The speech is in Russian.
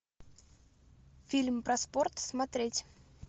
фильм про спорт смотреть